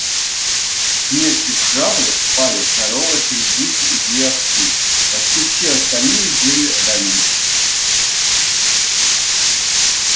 смертью храбрых пали корова три гуся и две овцы почти все остальные были ранены